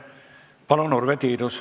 Palun, Urve Tiidus!